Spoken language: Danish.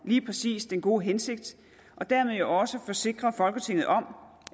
lige præcis den gode hensigt og dermed jo også forsikre folketinget om